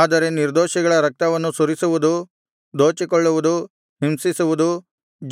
ಆದರೆ ನಿರ್ದೋಷಿಗಳ ರಕ್ತವನ್ನು ಸುರಿಸುವುದು ದೋಚಿಕೊಳ್ಳುವುದು ಹಿಂಸಿಸುವುದು